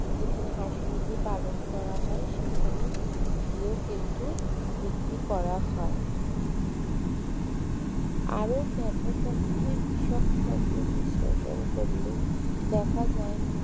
যেখানে হাঁস মুরগি পালন করা হয় সেখানে গিয়েও কিন্তু বিক্রি করা হয় আরো ব্যাপক অর্থে কৃষক শব্দ বিশ্লেষণ করলে দেখা যায়